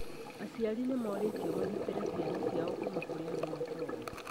Aciari nĩ morĩtio magitĩre ciana ciao kuuma kũrĩ andũ matooĩ.